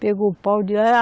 Pegou o pau